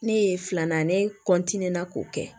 Ne ye filanan ne k'o kɛ